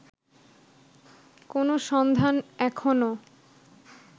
কোনো সন্ধান এখনো